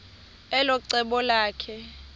elo cebo lakhe